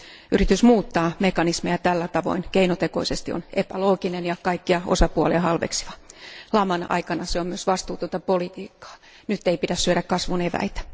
Yritys muuttaa mekanismia tällä tavoin keinotekoisesti on epälooginen ja kaikkia osapuolia halveksiva. Laman aikana se on myös vastuutonta politiikkaa, nyt ei pidä syödä kasvun eväitä.